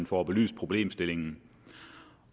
får belyst problemstillingen